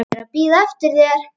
Ég er að bíða eftir þér.